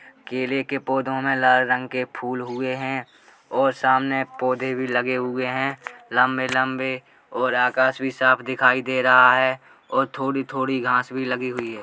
केले के पौधो में लाल रंग के फूल हुए हैं और सामने पौधे भी लगे हुए हैं लंबे-लंबे और आकाश भी साफ दिखाई दे रहा है और थोड़ी-थोड़ी घास भी लगी हुई है।